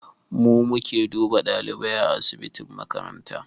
Mu muke duba ɗalibai a asibitin makaranta